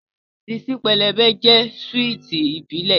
Ṣíṣí pẹlẹbẹ jẹ́ súwìtì ìbílẹ̀